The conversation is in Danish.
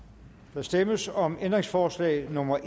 der stemmes om ændringsforslag nummer